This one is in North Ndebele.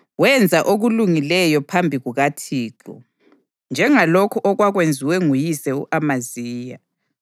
Wenza okulungileyo phambi kukaThixo, njengalokhu okwakwenziwe nguyise u-Amaziya.